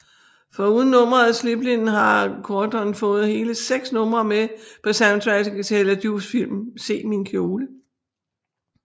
Foruden nummeret Slippin har Quadron fået hele seks numre med på soundtracket til Hella Joofs film Se min kjole